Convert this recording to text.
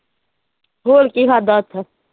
ਹੋਰ ਕੀ ਖਾਧਾ ਉੱਥੇ?